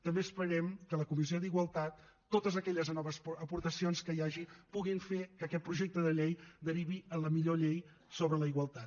també esperem que a la comissió d’igualtat totes aquelles noves aportacions que hi hagi puguin fer que aquest projecte de llei derivi en la millor llei sobre la igualtat